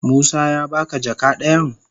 Musa ya ba ka jaka dayan?